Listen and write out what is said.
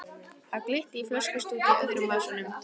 Það glitti í flöskustút í öðrum vasanum.